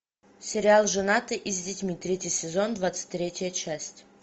сериал женатый и с детьми третий сезон двадцать третья часть